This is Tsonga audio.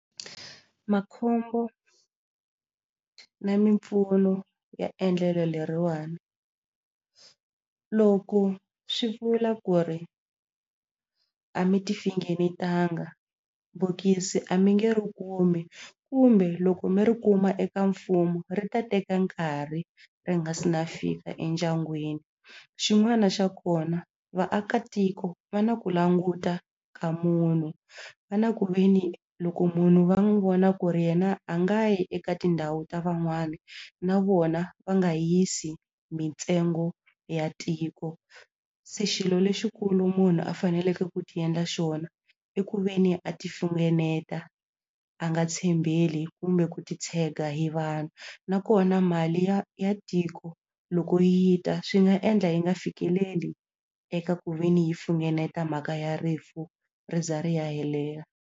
Makhombo na mimpfuno ya endlelo leriwani loko swi vula ku ri a mi ti finengetanga bokisi a mi nge ri kumi kumbe loko mi ri kuma eka mfumo ri ta teka nkarhi ri nga si na fika endyangwini xin'wana xa kona vaakatiko va na ku languta ka munhu va na ku ve ni loko munhu va n'wi vona ku ri yena a nga yi eka tindhawu ta van'wana na vona va nga yisi mintsengo ya tiko se xilo lexikulu munhu a faneleke ku ti endla xona i ku ve ni a ti finengeta a nga tshembeli kumbe ku titshega hi vanhu nakona mali ya ya tiko loko yi ta swi nga endla yi nga fikeleli eka ku ve ni yi funengeta mhaka ya rifu ri za ri ya helela.